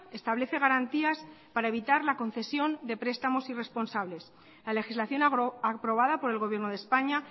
establece garantías para evitar la concesión de prestamos irresponsables la legislación aprobada por el gobierno de españa